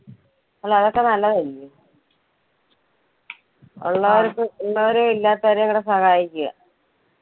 അല്ല അതൊക്കെ നല്ലതല്ലെ ഉള്ളവർക്ക് ഉള്ളവരെയും ഇല്ലാത്തവരെയും കൂടെ സഹായിക്കുക.